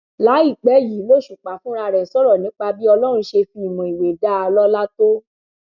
láìpẹ yìí lòṣùpá fúnra rẹ sọrọ nípa bí ọlọrun ṣe fi ìmọ ìwé dá a lọlá tó